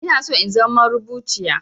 Inaso in zama marubuciya